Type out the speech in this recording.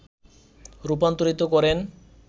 রূপান্তরিত করেন